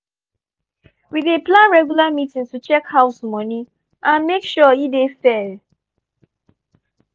we dey plan regular meeting to check house money and make sure e dey fair.